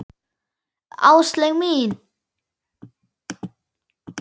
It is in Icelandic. Áslaug mín!